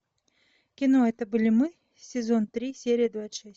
кино это были мы сезон три серия двадцать шесть